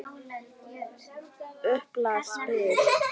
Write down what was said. Upplagt spil.